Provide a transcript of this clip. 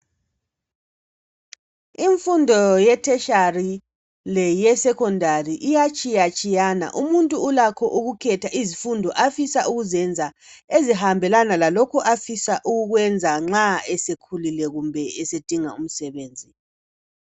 Imfundo ye-tertiary leyesecondary iyatshiyatshiyana umuntu ulakho ukukhetha izifundo afisa ukuzenza ezihambelana lalokho afisa ukukwenza nxa esekhulile kumbe esedinga umsebenzi.